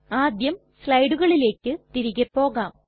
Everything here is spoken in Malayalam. ആദ്യം സ്ലയ്ടുകളിലെക് തിരികെ പോകാം